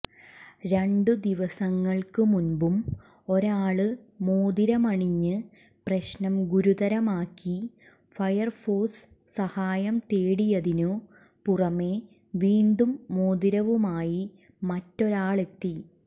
രണ്ടു ദിവസങ്ങള്ക്ക് മുമ്പും ഒരാള് മോതിരമണിഞ്ഞ് പ്രശ്നം ഗുരുതരമാക്കി ഫയര്ഫോഴ്സ് സഹായം തേടിയതിനു പുറമേ വീണ്ടും മോതിരവുമായി മറ്റൊരാളെത്തി